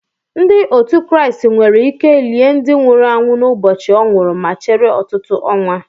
Ndị otu Kraịst nwere ike lie ndị nwụrụ anwụ n'ụbọchị o nwuru ma chere ọtụtụ ọnwa